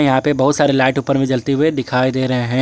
यहां पे बहुत सारे लाइट ऊपर में जलते हुए दिखाई दे रहे हैं।